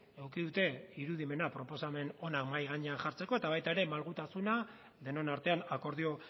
eduki dute irudimena proposamen ona mahai gainean jartzeko eta baita ere malgutasuna denon artean akordio